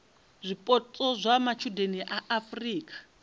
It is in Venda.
zwipotso zwa matshudeni a afurika